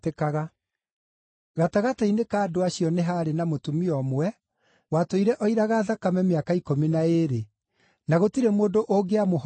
Gatagatĩ-inĩ ka andũ acio nĩ haarĩ na mũtumia ũmwe watũire oiraga thakame mĩaka ikũmi na ĩĩrĩ, na gũtirĩ mũndũ ũngĩamũhonirie.